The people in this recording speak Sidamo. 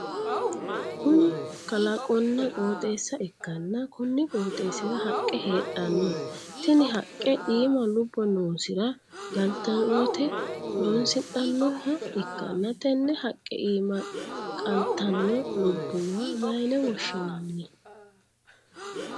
Kunni kalaqonna qooxeessa ikanna konni qooxeesira haqe heedhano tinne haqe iima lubo noosira galtinote horonsidhanoha ikanna tenne haqe iimma qaltano lubowa mayine woshinnanni?